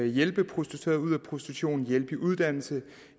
hjælpe prostituerede ud af prostitution hjælpe i uddannelse